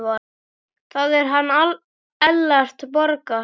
Það er hann Ellert Borgar.